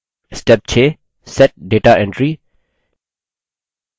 step 6 set data entry